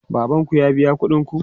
Baban ku ya biya kuɗin ku?